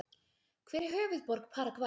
Hver er höfuðborg Paragvæ?